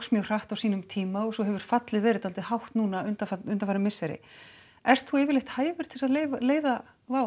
mjög hratt á sínum tíma og svo hefur fallið verið svolítið hátt núna undanfarin undanfarin misseri ert þú yfirleitt hæfur til þess að leiða